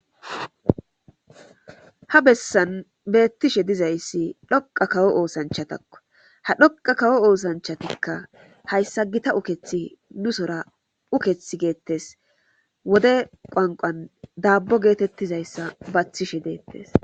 Ha bessan beettishe dizayssi dhoqa kawo oosanchatakko ha dhoqa kawo oosanchatikka hayssa gita ukethi nu sora uketh geettes wode qwanqan daabbo geetettizayssa baathishe deettes.